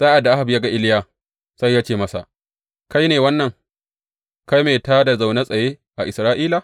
Sa’ad da Ahab ya ga Iliya, sai ya ce masa, Kai ne wannan, kai mai tā da na zaune tsaye a Isra’ila?